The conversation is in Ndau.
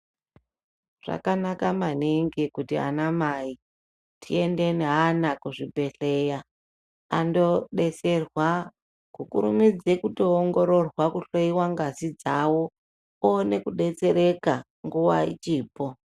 Zvakanaka maningi kuti ana mai tiende neana kuzvibhedhleya andoodetserwa kukurumidze kutoongororwa kuhloyiwa ngazi dzawo oone kudetsereka nguwa ichipo.